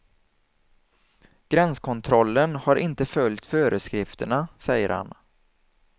Gränskontrollen har inte följt föreskrifterna, säger han.